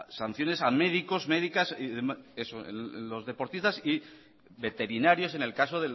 sanciones a médicos médicas los deportistas y veterinarios en el caso